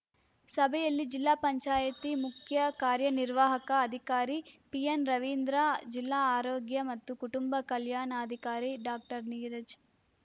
ಸಭೆಯಲ್ಲಿ ಜಿಪಂ ಮುಖ್ಯ ಕಾರ್ಯನಿರ್ವಾಹಕ ಅಧಿಕಾರಿ ಪಿಎನ್‌ ರವೀಂದ್ರ ಜಿಲ್ಲಾ ಆರೋಗ್ಯ ಮತ್ತು ಕುಟುಂಬ ಕಲ್ಯಾಣಾಧಿಕಾರಿ ಡಾಕ್ಟರ್ ನೀರಜ್‌